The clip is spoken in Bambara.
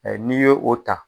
N'i yo o ta.